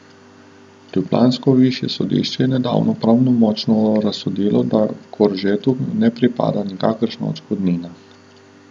Ljubljansko višje sodišče je nedavno pravnomočno razsodilo, da Koržetu ne pripada nikakršna odškodnina.